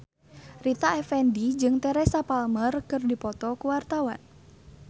Rita Effendy jeung Teresa Palmer keur dipoto ku wartawan